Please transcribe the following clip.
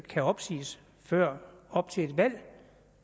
kan opsiges før op til et valg det